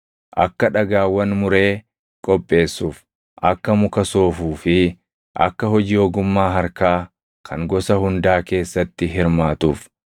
akka dhagaawwan muree qopheessuuf, akka muka soofuu fi akka hojii ogummaa harkaa kan gosa hundaa keessatti hirmaatuuf.